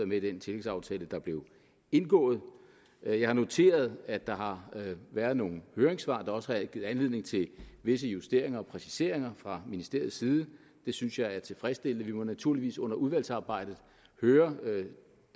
med i den tillægsaftale der blev indgået jeg har noteret at der har været nogle høringssvar der også har givet anledning til visse justeringer og præciseringer fra ministeriets side det synes jeg er tilfredsstillende vi må naturligvis under udvalgsarbejdet høre